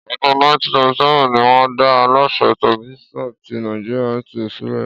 Ọdún 1977 ní wọn dá Aláṣẹ Tẹlifíṣàn tí Nàìjíríà (NTA) sílẹ̀